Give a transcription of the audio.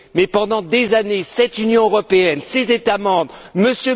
Mais, pendant des années, cette Union européenne, ces États membres, M.